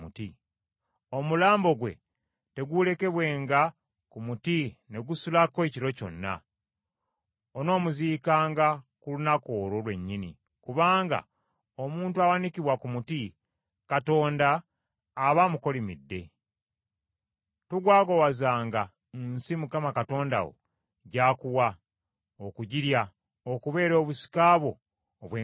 omulambo gwe teguulekebwenga ku muti ne gusulako ekiro kyonna; onoomuziikanga ku lunaku olwo lwennyini, kubanga omuntu awanikibwa ku muti, Katonda aba amukolimidde. Togwagwawazanga nsi Mukama Katonda wo gy’akuwa okugirya okubeera obusika bwo obw’enkalakkalira.